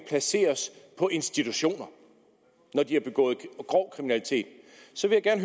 placeres på institutioner når de har begået grov kriminalitet og så vil jeg